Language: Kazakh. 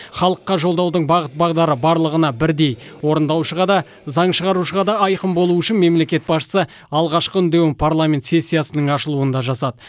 халыққа жолдаудың бағыт бағдары барлығына бірдей орындаушыға да заң шығарушыға да айқын болуы үшін мемлекет басшысы алғашқы үндеуін парламент сессиясының ашылуында жасады